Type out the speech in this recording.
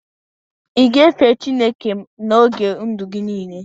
ị ga-efe Chineke n'oge ndụ gị niile?